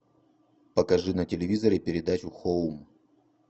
покажи на телевизоре передачу хоум